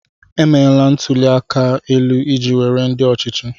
Emeela ntụli aka elu iji were ndị ọchịchị.